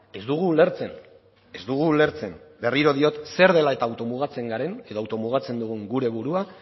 ez dugu ulertzen ez dugu ulertzen berriro diot zer dela eta auto mugatzen garen edo auto mugatzen dugun gure burua